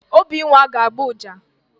Obinwa ga-agba ọjà.